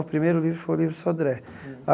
O primeiro livro foi o Livro Sodré.